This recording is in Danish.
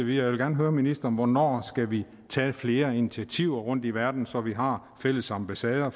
jeg vil gerne høre ministeren hvornår skal vi tage flere initiativer rundt i verden så vi har fælles ambassader